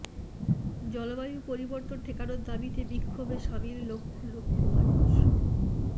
জলবায়ু পরিবর্তন ঠেকানোর দাবিতে বিক্ষোভে সামিল লক্ষ লক্ষ মানুষ